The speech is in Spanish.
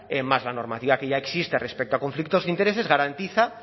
más la normativa que ya existe respecto a conflictos de intereses garantiza